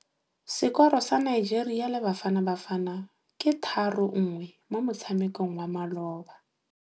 Sekôrô sa Nigeria le Bafanabafana ke 3-1 mo motshamekong wa malôba.